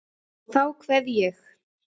Og þá kveð ég.